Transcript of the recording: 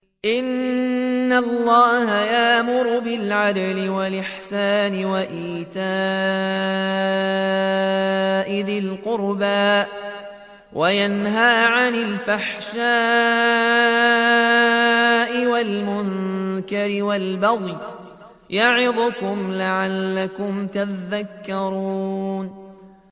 ۞ إِنَّ اللَّهَ يَأْمُرُ بِالْعَدْلِ وَالْإِحْسَانِ وَإِيتَاءِ ذِي الْقُرْبَىٰ وَيَنْهَىٰ عَنِ الْفَحْشَاءِ وَالْمُنكَرِ وَالْبَغْيِ ۚ يَعِظُكُمْ لَعَلَّكُمْ تَذَكَّرُونَ